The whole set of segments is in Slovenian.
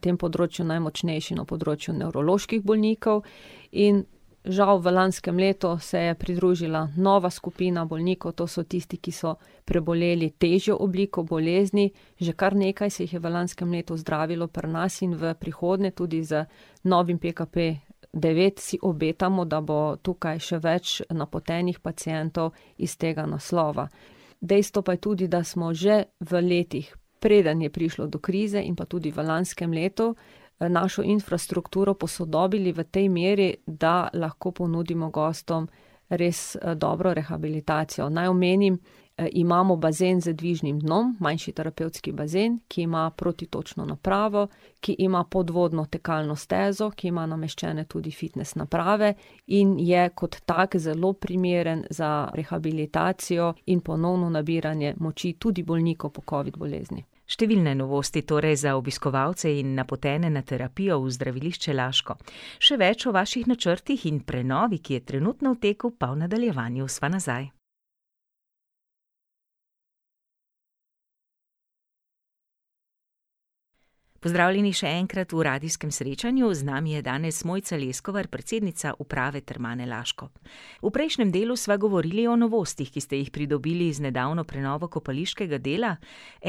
tem področju najmočnejši, na področju nevroloških bolnikov in žal v lanskem letu se je pridružila nova skupina bolnikov. To so tisti, ki so preboleli težjo obliko bolezni. Že kar nekaj se jih je v lanskem letu zdravilo pri nas in v prihodnje tudi z novim PKP devet si obetamo, da bo tukaj še več napotenih pacientov iz tega naslova. Dejstvo pa je tudi, da smo že v letih, preden je prišlo do krize in pa tudi v lanskem letu, našo infrastrukturo posodobili v tej meri, da lahko ponudimo gostom res dobro rehabilitacijo. Naj omenim, imamo bazen z dvižnim dnom. Manjši terapevtski bazen, ki ima protitočno napravo, ki ima podvodno tekalno stezo, ki ima nameščene tudi fitnes naprave in je kot tak zelo primeren za rehabilitacijo in ponovno nabiranje moči tudi bolnikov po covid bolezni. Številne novosti torej za obiskovalce in napotene na terapijo v Zdravilišče Laško. Še več o vaših načrtih in prenovi, ki je trenutno v teku pa v nadaljevanju. Sva nazaj. Pozdravljeni še enkrat v radijskem srečanju. Z nami je danes Mojca Leskovar, predsednica uprave Termane Laško. V prejšnjem delu sva govorili o novostih, ki ste jih pridobili z nedavno prenovo kopališkega dela.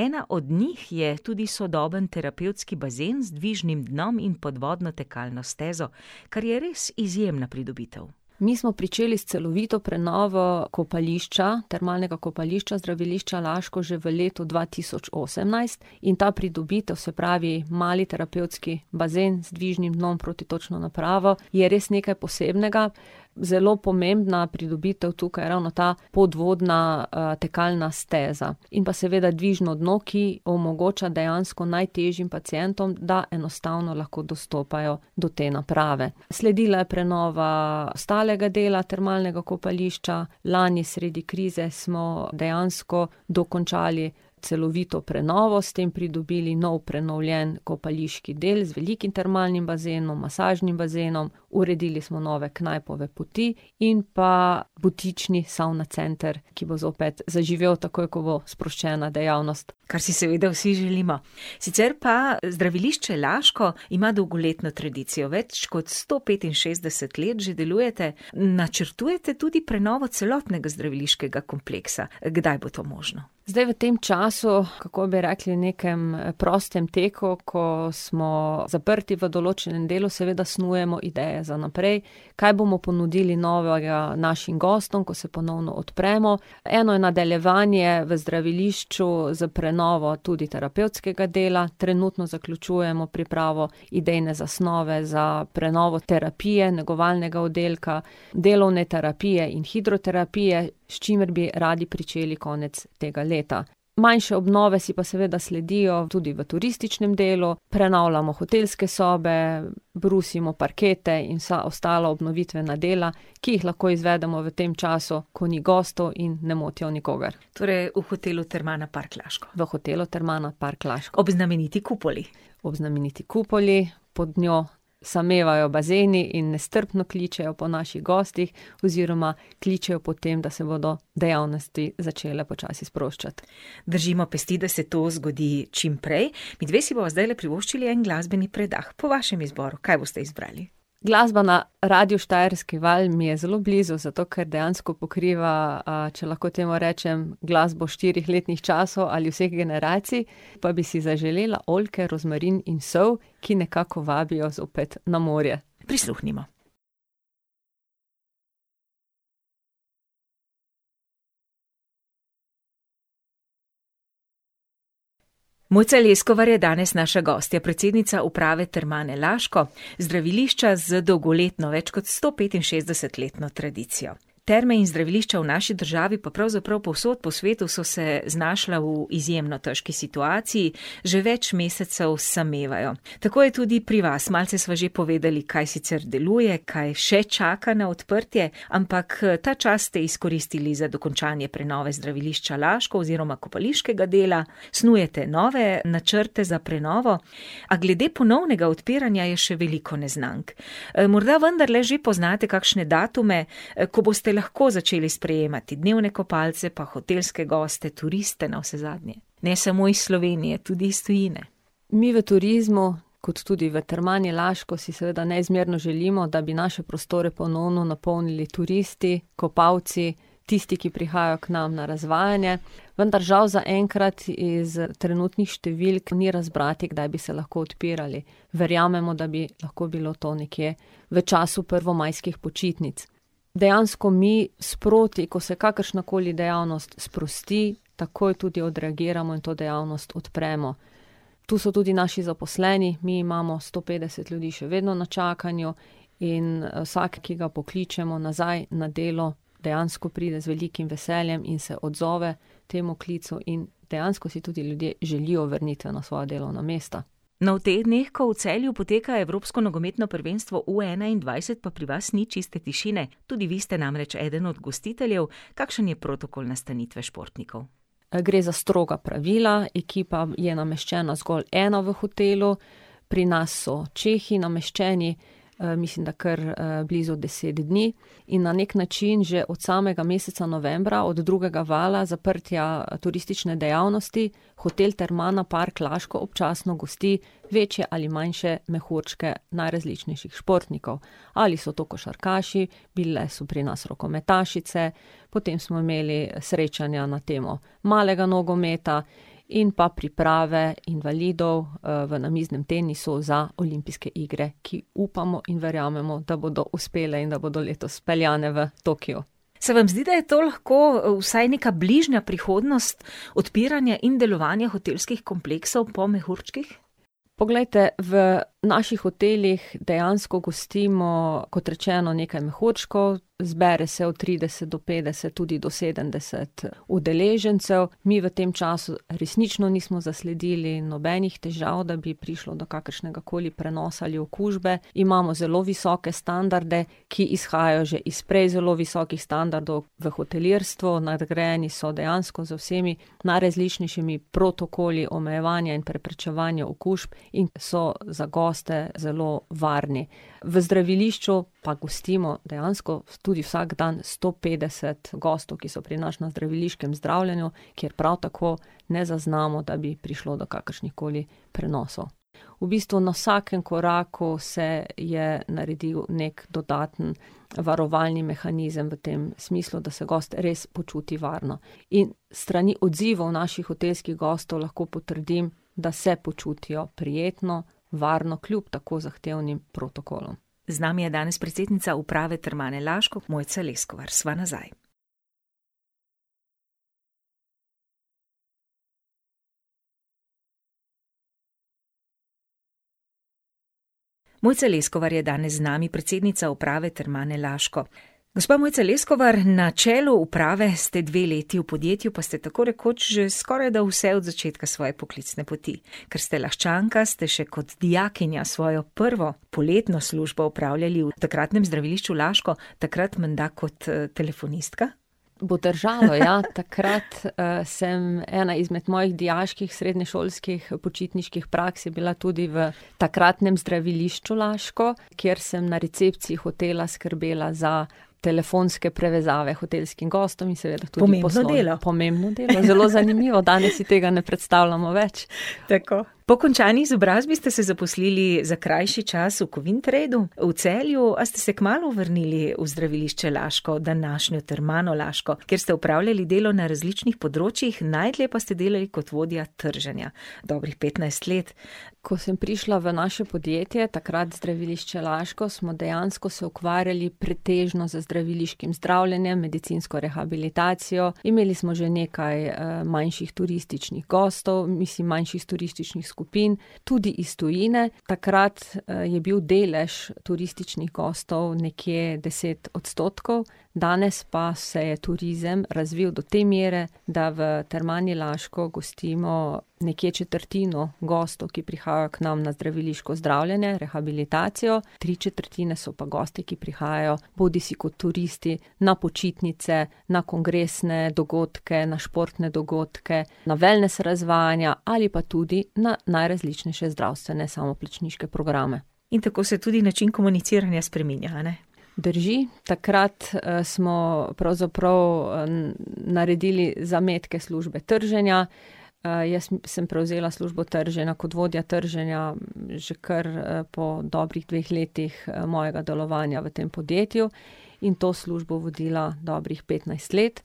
Ena od njih je tudi sodoben terapevtski bazen z dvižnim dnom in podvodno tekalno stezo, kar je res izjemna pridobitev. Mi smo pričeli s celovito prenovo kopališča, termalnega kopališča, Zdravilišča Laško, že v letu dva tisoč osemnajst in ta pridobitev, se pravi mali terapevtski bazen z dvižnim dnom, protitočno napravo, je res nekaj posebnega. Zelo pomembna pridobitev tukaj ravno ta podvodna, tekalna steza in pa seveda dvižno dno, ki omogoča dejansko najtežjim pacientom, da enostavno lahko dostopajo do te naprave. Sledila je prenova ostalega dela termalnega kopališča, lani sredi krize smo dejansko dokončali celovito prenovo, s tem pridobili nov prenovljen kopališki del z velikim termalnim bazenom, masažnim bazenom. Uredili smo nove knajpove poti in pa butični savna center, ki bo zopet zaživel, takoj ko bo sproščena dejavnost. Kar si seveda vsi želimo. Sicer pa Zdravilišče Laško ima dolgoletno tradicijo. Več kot sto petinšestdeset let že delujte. Načrtujte tudi prenovo celotnega zdraviliškega kompleksa. Kdaj bo to možno? Zdaj v tem času, kako bi rekli, nekem prostem teku, ko smo zaprti v določnem delu, seveda snujemo ideje za naprej. Kaj bomo ponudili novega našim gostom, ko se ponovno odpremo. Eno je nadaljevanje v zdravilišču s prenovo tudi terapevtskega dela, trenutno zaključujemo pripravo idejne zasnove za prenovo terapije, negovalnega oddelka delovne terapije in hidroterapije, s čimer bi radi pričeli konec tega leta. Manjše obnove si pa seveda sledijo tudi v turističnem delu. Prenavljamo hotelske sobe, brusimo parkete in vsa ostala obnovitvena dela, ki jih lahko izvedemo v tem času, ko ni gostov in ne motijo nikogar. Torej v hotelu Termana Park Laško? V hotelu Termana Park Laško. Ob znameniti kupoli. Ob znameniti kupoli, pod njo samevajo bazeni in nestrpno kličejo po naših gostih. Oziroma kličejo po tem, da se bodo dejavnosti začele počasi sproščati. Držimo pesti, da se to zgodi čimprej. Midve si bova zdajle privoščili en glasbeni predah po vašem izboru. Kaj boste izbrali? Glasba na radiu Štajerski val mi je zelo blizu, zato ker dejansko pokriva, če lahko temu rečem, glasbo štirih letnih časov ali vseh generacij. Pa bi si zaželela Oljke, rožmarin in sol, ki nekako vabijo zopet na morje. Prisluhnimo. Mojca Leskovar je danes naša gostja, predsednica uprave Termane Laško. Zdravilišča z dolgoletno, več kot stopetinšestdesetletno tradicijo. Terme in zdravilišča v naši državi pa pravzaprav povsod po svetu so se znašla v izjemno težki situaciji. Že več mesecev samevajo. Tako je tudi pri vas. Malce sva že povedali, kaj sicer deluje, kaj še čaka na odprtje, ampak, ta čas ste izkoristili za dokončanje prenove Zdravilišča Laško oziroma kopališkega dela, snujete nove načrte za prenovo, a glede ponovnega odpiranja je še veliko neznank. morda vendarle že poznate kakšne datume, ko boste lahko začeli sprejemati dnevne kopalce pa hotelske goste, turiste navsezadnje. Ne samo iz Slovenije, tudi iz tujine. Mi v turizmu kot tudi v Termani Laško si seveda neizmerno želimo, da bi naše prostore ponovno napolnili turisti, kopalci, tisti, ki prihajajo k nam na razvajanje. Vendar žal zaenkrat iz trenutnih številk ni razbrati, kdaj bi se lahko odpirali. Verjamemo, da bi lahko bilo to nekje v času prvomajskih počitnic. Dejansko mi sproti, ko se kakršnakoli dejavnost sprosti, takoj tudi odreagiramo in to dejavnost odpremo. Tu so tudi naši zaposleni. Mi imamo sto petdeset ljudi še vedno na čakanju in, vsak, ki ga pokličemo nazaj na delo, dejansko pride z velikim veseljem in se odzove temu klicu in dejansko si tudi ljudje želijo vrnitve na svoja delovna mesta. No, v teh dneh, ko v Celju poteka evropsko nogometno prvenstvo v enaindvajset, pa pri vas ni čiste tišine. Tudi vi ste namreč eden od gostiteljev. Kakšen je protokol nastanitve športnikov? gre za stroga pravila. Ekipa je nameščena zgolj ena v hotelu. Pri nas so Čehi nameščeni. mislim, da kar, blizu deset dni. In na neki način že od samega meseca novembra, od drugega valja zaprtja turistične dejavnosti, hotel Termana Park Laško občasno gosti večje ali manjše mehurčke najrazličnejših športnikov. Ali so to košarkaši, bile so pri nas rokometašice, potem smo imeli srečanja na temo malega nogometa in pa priprave invalidov, v namiznem tenisu za olimpijske igre, ki upamo in verjamemo, da bodo uspele in da bodo letos speljane v Tokiu. Se vam zdi, da je to lahko, vsaj neka bližnja prihodnost odpiranja in delovanja hotelskih kompleksov po mehurčkih? Poglejte, v naših hotelih dejansko gostimo, kot rečeno, nekaj mehurčkov. Zbere se od trideset do petdeset, tudi do sedemdeset udeležencev. Mi v tem času resnično nismo zasledili nobenih težav, da bi prišlo do kakršnegakoli prenosa ali okužbe, imamo zelo visoke standarde, ki izhajajo že iz prej zelo visokih standardov v hotelirstvu, nadgrajeni so dejansko z vsemi najrazličnejšimi protokoli omejevanja in preprečevanja okužb in so za goste zelo varni. V zdravilišču pa gostimo dejansko tudi vsak dan sto petdeset gostov, ki so pri nas na zdraviliškem zdravljenju, kjer prav tako ne zaznamo, da bi prišlo do kakršnihkoli prenosov. V bistvu na vsakem koraku se je naredil neki dodaten varovalni mehanizem v tem smislu, da se gost res počuti varno. In s strani odzivov naših hotelskih gostov lahko potrdim, da se počutijo prijetno, varno kljub tako zahtevnih protokolom. Z nami je danes predsednica uprave Termane Laško, Mojca Leskovar. Sva nazaj. Mojca Leskovar je danes z nami, predsednica uprave Termane Laško. Gospa Mojca Leskovar, na čelu uprave ste dve leti, v podjetju pa ste tako rekoč že skorajda vse od začetka svoje poklicne poti. Ker ste Laščanka, ste še kot dijakinja svojo prvo poletno službo opravljali v takratnem Zdravilišču Laško. Takrat menda kot, telefonistka? Bo držalo, ja. Takrat, sem ... Ena izmed mojih dijaških srednješolskih počitniških praks je bila tudi v takratnem Zdravilišču Laško, kjer sem na recepciji hotela skrbela za telefonske prevezave hotelskim gostom in seveda tudi ... Pomembno delo, zelo zanimivo. Danes si tega ne predstavljamo več. Pomembno delo. Tako. Po končani izobrazbi ste se zaposlili za krajši čas v Kovintradu v Celju, a ste se kmalu vrnili v Zdravilišče Laško, današnjo Termano Laško, kjer ste opravljali delo na različnih področjih, najdlje pa ste delali kot vodja trženja. Dobrih petnajst let. Ko sem prišla v naše podjetje, takrat Zdravilišče Laško, smo dejansko se ukvarjali pretežno z zdraviliškim zdravljenjem, medicinsko rehabilitacijo, imeli smo že nekaj, manjših turističnih gostov, mislim, manjših turističnih skupin. Tudi iz tujine, takrat, je bil delež turističnih gostov nekje deset odstotkov. Danes pa se je turizem razvil do te mere, da v Termani Laško gostimo nekje četrtino gostov, ki prihajajo k nam na zdraviliško zdravljenje, rehabilitacijo. Tri četrtine so pa gosti, ki prihajajo bodisi kot turisti na počitnice, na kongresne dogodke, na športne dogodke, na wellness razvajanja ali pa tudi na najrazličnejše zdravstvene samoplačniške programe. In tako se tudi način komuniciranja spreminja, a ne? Drži. Takrat, smo pravzaprav, naredili zametke službe trženja. jaz sem prevzela službo trženja kot vodja trženja že kar po dobrih dveh letih mojega delovanja v tem podjetju. In to službo vodila dobrih petnajst let.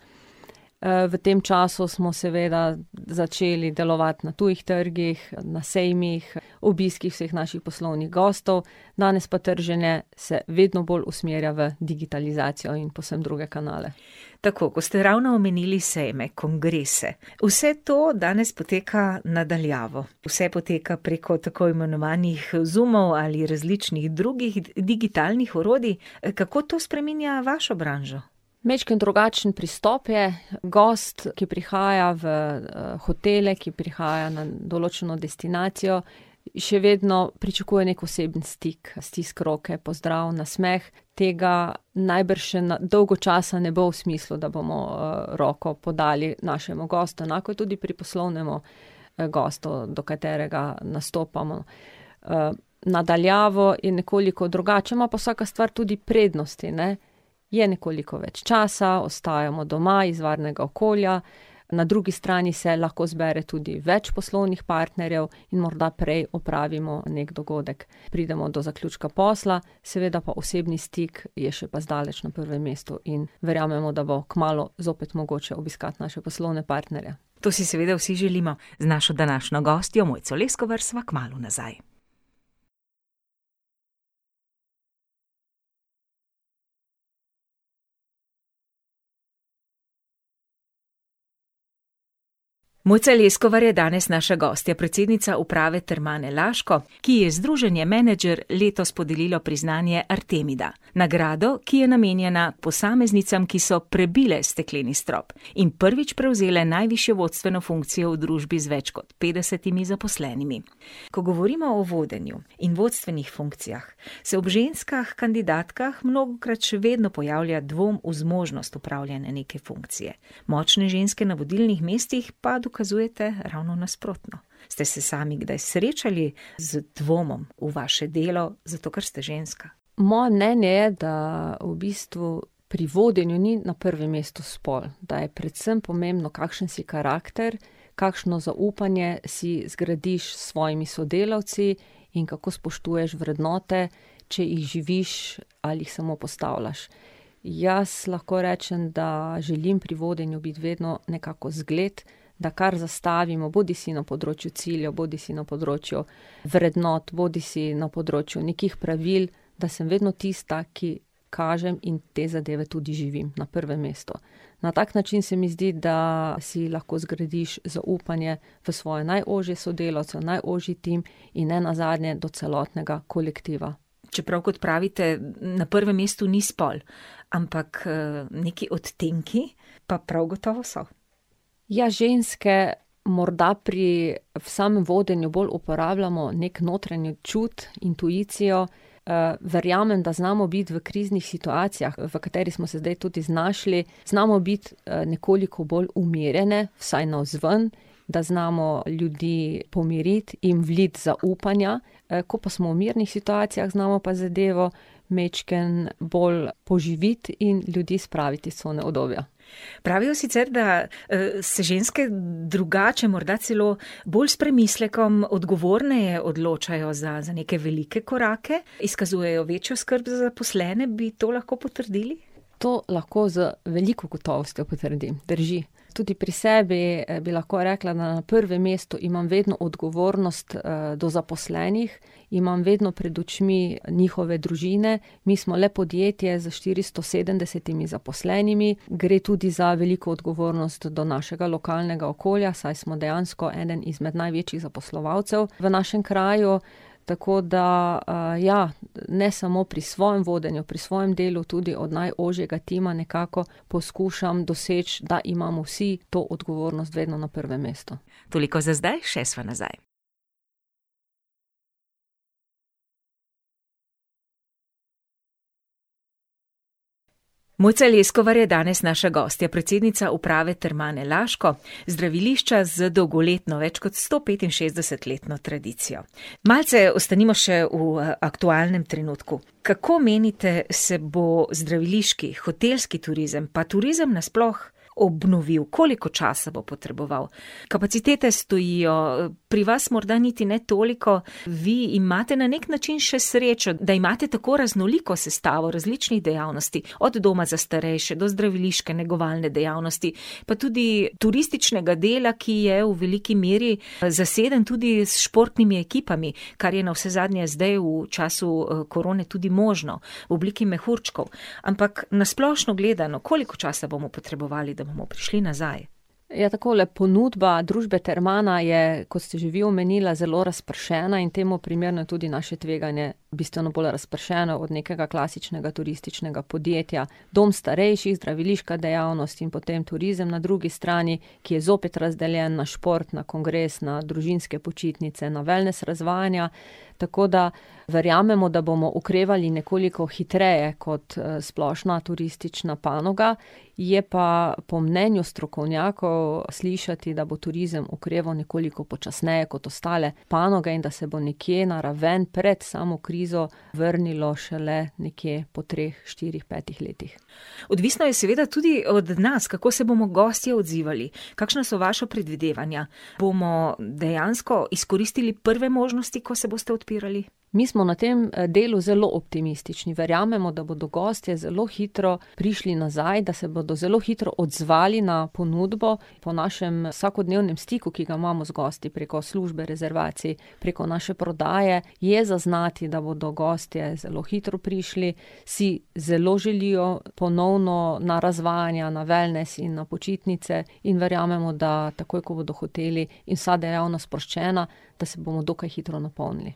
v tem času smo seveda začeli delovati na tujih trgih, na sejmih, obiski vseh naših poslovnih gostov. Danes pa trženje se vedno bolj usmerja v digitalizacijo in povsem druge kanale. Tako. Ko ste ravno omenili sejme, kongrese, vse to danes poteka na daljavo. Vse poteka preko tako imenovanih, Zoomov ali različnih drugih digitalnih orodij, kako to spreminja vašo branžo? Majčkeno drugačen pristop je. Gost, ki prihaja v, hotele, ki prihaja na določeno destinacijo, še vedno pričakuje neki osebni stik. Stisk roke, pozdrav, nasmeh. Tega najbrž še dolgo časa ne bo v smislu, da bomo, roko podali našemu gostu. Enako je tudi pri poslovnemu gostu, do katerega nastopamo. na daljavo je nekoliko drugače. Ima pa vsaka stvar tudi prednosti, ne. Je nekoliko več časa, ostajamo doma iz varnega okolja. Na drugi stani se lahko zbere tudi več poslovnih partnerjev in morda prej opravimo neki dogodek, pridemo do zaključka posla. Seveda pa osebni stik je še pa zdaleč na prvem mestu in verjamemo, da bo kmalu zopet mogoče obiskati naše poslovne partnerje. To si seveda vsi želimo. Z našo današnjo gostjo, Mojco Leskovar, sva kmalu nazaj. Mojca Leskovar je danes naša gostja, predsednica uprave Termane Laško, ki ji je Združenje Menedžer letos podarilo priznanje artemida, nagrado, ki je namenjena posameznicam, ki so prebile stekleni strop in prvič prevzele najvišjo vodstveno funkcijo v družbi z več kot petdesetimi zaposlenimi. Ko govorimo o vodenju in vodstvenih funkcijah, se ob ženskah kandidatkah mnogokrat še vedno pojavlja dvom v zmožnost opravljanja neke funkcije. Močne ženske na vodilnih mestih pa dokazujete ravno nasprotno. Ste se sami kdaj srečali z dvomom v vaše delo, zato ker ste ženska? Moje mnenje je, da v bistvu pri vodenju ni na prvem mestu spol. Da je predvsem pomembno, kakšen si karakter, kakšno zaupanje si zgradiš s svojimi sodelavci in kako spoštuješ vrednote, če jih živiš ali jih samo postavljaš. Jaz lahko rečem, da želim pri vodenju biti vedno nekako zgled, da kar zastavimo, bodisi na področju ciljev bodisi na področju vrednot bodisi na področju nekih pravil, da sem vedno tista, ki kažem in te zadeve tudi živim, na prvem mestu. Na tak način se mi zdi, da si lahko zgradiš zaupanje v svoje najožje sodelavce, v najožji tim in nenazadnje do celotnega kolektiva. Čeprav, kot pravite, na prvem mestu ni spol. Ampak, nekaj odtenki pa prav gotovo so. Ja, ženske morda pri samem vodenju bolj uporabljamo neki notranji čut, intuicijo. verjamem, da znamo biti v kriznih situacijah, v kateri smo se zdaj tudi našli, znamo biti nekoliko bolj umirjene, vsaj navzven. Da znamo ljudi pomiriti, jim vliti zaupanja. ko pa smo v mirnih situacijah, znamo pa zadevo majčkeno bolj poživiti in ljudi spraviti iz cone udobja. Pravijo sicer da, se ženske drugače morda celo bolj s premislekom, odgovorneje odločajo za, za neke velike korake, izkazujejo večjo skrb za zaposlene, bi to lahko potrdili? To lahko z veliko gotovostjo potrdim. Drži. Tudi pri sebi bi lahko rekla, da na prvem mestu imam vedno odgovornost, do zaposlenih, imam vedno pred očmi njihove družine, mi smo le podjetje z štiristo sedemdesetimi zaposlenimi. Gre tudi za veliko odgovornost do našega lokalnega okolja, saj smo dejansko eden izmed največjih zaposlovalcev v našem kraju. Tako da, ja, ne samo pri svojem vodenju, pri svojem delu, tudi od najožjega tima nekako poskušam doseči, da imamo vsi to odgovornost vedno na prvem mestu. Toliko za zdaj, še sva nazaj. Mojca Leskovar je danes naša gostja. Predsednica uprave Termane Laško, zdravilišča z dolgoletno, več kot stopetinšestdesetletno tradicijo. Malce ostanimo še v aktualnem trenutku. Kako menite, se bo zdraviliški, hotelski turizem pa turizem na sploh obnovil? Koliko časa bo potreboval? Kapacitete stojijo, pri vas morda niti ne toliko. Vi imate na neki način še srečo, da imate tako raznoliko sestavo različnih dejavnosti. Od doma za starejše do zdraviliške negovalne dejavnosti, pa tudi turističnega dela, ki je v veliki meri zaseden tudi s športnimi ekipami, kar je navsezadnje zdaj v času, korone tudi možno, v obliki mehurčkov. Ampak na splošno gledano, koliko časa bomo potrebovali, da bomo prišli nazaj? Ja, takole, ponudba družbe Termana je, kot ste že vi omenila, zelo razpršena in temu primerno tudi naše tveganje bistveno bolj razpršeno od nekega klasičnega turističnega podjetja. Dom starejših, zdraviliška dejavnost in potem turizem na drugi strani, ki je zopet razdeljen na šport, na kongres, na družinske počitnice, na wellness razvajanja. Tako da verjamemo, da bomo okrevali nekoliko hitreje kot, splošna turistična panoga, je pa po mnenju strokovnjakov slišati, da bo turizem okreval nekoliko počasneje kot ostale panoge in da se bo nekje na raven pred samo krizo vrnilo šele nekje po treh, štirih, petih letih. Odvisno je seveda tudi od nas, kako se bomo gostje odzivali. Kakšna so vaša predvidevanja? Bomo dejansko izkoristili prve možnosti, ko se boste odpirali? Mi so na tem, delu zelo optimistični, verjamemo, da bodo gostje zelo hitro prišli nazaj, da se bodo zelo hitro odzvali na ponudbo po našem vsakodnevnem stiku, ki ga imamo z gosti preko službe, rezervacij, preko naše prodaje je zaznati, da bodo gostje zelo hitro prišli. Si zelo želijo ponovno na razvajanja, na wellness in na počitnice. In verjamemo, da takoj ko bodo hoteli in vsa dejavnost sproščena, da se bomo dokaj hitro napolnili.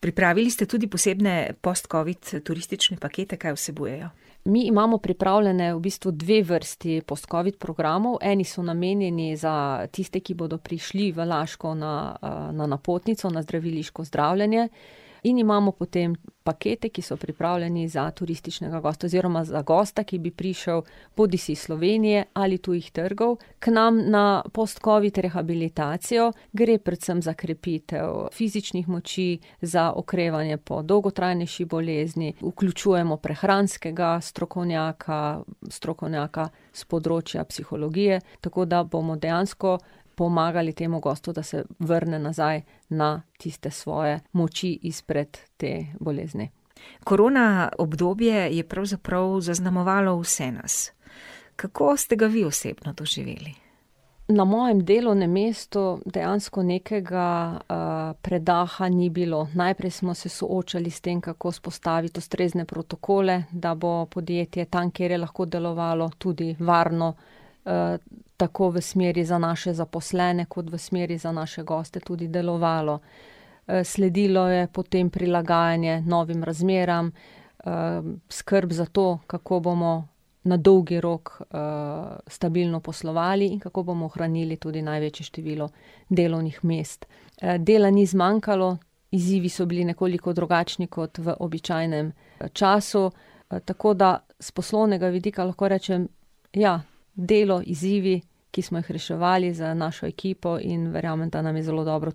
Pripravili ste tudi posebne postcovid turistične pakete, kaj vsebujejo? Mi imamo pripravljene v bistvu dve vrsti postcovid programov. Eni so namenjeni za tiste, ki bodo prišli v Laško na, na napotnico, na zdraviliško zdravljenje. In imamo potem pakete, ki so pripravljeni za turističnega gosta oziroma za gosta, ki bi prišel bodisi iz Slovenije ali tujih trgov k nam na postcovid rehabilitacijo. Gre predvsem za krepitev fizičnih moči, za okrevanje po dolgotrajnejši bolezni, vključujemo prehranskega strokovnjaka, strokovnjaka s področja psihologije, tako da bomo dejansko pomagali temu gostu, da se vrne nazaj na tiste svoje moči izpred te bolezni. Korona obdobje je pravzaprav zaznamovalo vse nas. Kako ste ga vi osebno doživeli? Na mojem delovnem mestu dejansko nekega, predaha ni bilo. Najprej smo se soočali s tem, kako vzpostaviti ustrezne protokole, da bo podjetje tam, kjer je lahko delovalo, tudi varno, tako v smeri za naše zaposlene kot v smeri za naše goste tudi delovalo. sledilo je potem prilagajanje novim razmeram, skrb za to, kako bomo na dolgi rok, stabilno poslovali in kako bomo ohranili tudi največje število delovnih mest. dela ni zmanjkalo, izzivi so bili nekoliko drugačni kot v običajnem času. tako da s poslovnega vidika lahko rečem ja, delo, izzivi, ki smo jih reševali z našo ekipo in verjamem, da nam je zelo dobro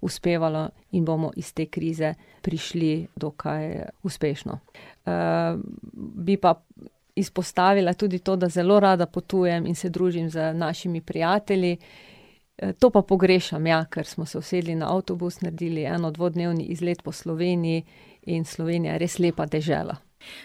uspevalo in bomo iz te krize prišli dokaj uspešno. bi pa izpostavila tudi to, da zelo rada potujem in se družim z našimi prijatelji. to pa pogrešam, ja, ker smo se usedli na avtobus, naredili eno-, dvodnevni izlet po Sloveniji. In Slovenija je res lepa dežela.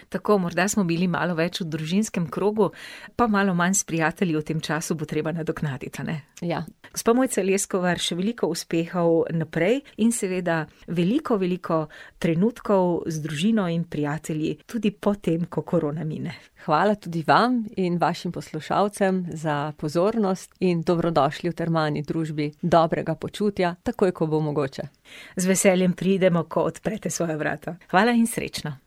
Tako, morda smo bili malo več v družinskem krogu pa malo manj s prijatelji v tem času. Bo treba nadoknaditi, a ne? Ja. Gospa Mojca Leskovar, še veliko uspehov naprej in seveda veliko, veliko trenutkov z družino in prijatelji tudi potem, ko korona mine. Hvala tudi vam in vašim poslušalcem za pozornost. In dobrodošli v termalni družbi dobrega počutja, takoj ko bo mogoče. Z veseljem pridemo, ko odprete svoja vrata. Hvala in srečno.